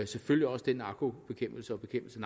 selvfølgelig også den narkobekæmpelse og bekæmpelse